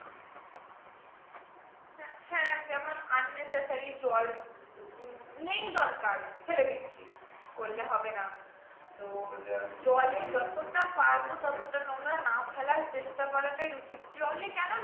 হ্যাঁ যেমন unnecessary জল নেই দরকার ছেড়ে দিচ্ছি করলে হবে না তোর জলে যতটা পারবো ততটা নোংরা না ফেলার চেষ্টা করাটাই উচিত জলে কেন নোংরা